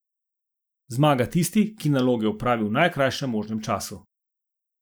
Zmaga tisti, ki naloge opravi v najkrajšem možnem času.